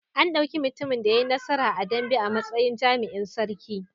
An ɗauki mutumin da ya yi nasara a dambe a matsayin jami'in sarki.